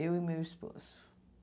Eu e meu esposo.